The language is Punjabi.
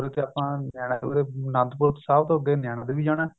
ਉਰੇ ਤੇ ਆਪਾ ਉਰੇ ਆਨੰਦਪੁਰ ਸਾਹਿਬ ਤੋ ਅੱਗੇ ਨੈਨਾਂ ਦੇਵੀ